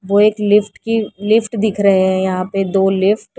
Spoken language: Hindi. वो एक लिफ्ट की लिफ्ट दिख रहे हैं यहां पे दो लिफ्ट --